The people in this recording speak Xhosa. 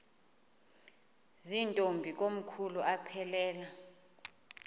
zirntombi komkhulu aphelela